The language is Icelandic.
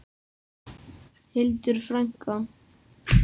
Hildur frænka.